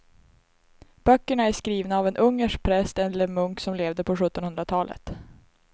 Böckerna är skrivna av en ungersk präst eller munk som levde på sjuttonhundratalet.